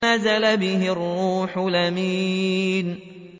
نَزَلَ بِهِ الرُّوحُ الْأَمِينُ